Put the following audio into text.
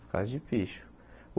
Por causa de picho.